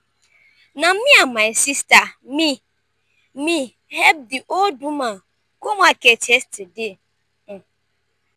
na me and my sista me me help di old woman go market yesterday.